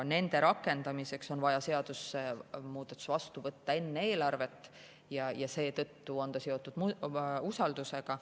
Nende rakendamiseks on vaja seadusemuudatus vastu võtta enne eelarvet ja seetõttu on see seotud usaldusega.